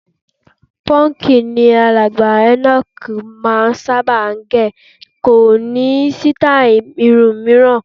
Pọ́ǹkì ni alàgbà Enoch máà ń sábà gẹ̀, kò ní sítáì irun mìíràn.